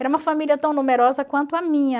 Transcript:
Era uma família tão numerosa quanto a minha.